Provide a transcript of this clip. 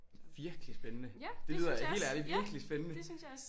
Virkelig spændende! Det lyder helt ærligt virkelig spændende